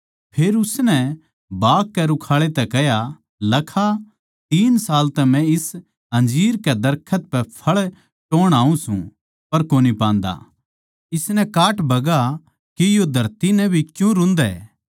फेर उसनै बाग कै रुखाळै तै कह्या लखा तीन साल तै म्ह इस अंजीर कै दरखत पै फळ टोह्ण आऊँ सूं पर कोनी पान्दा इसनै काट बगा के यो धरती नै भी क्यूँ रुंधै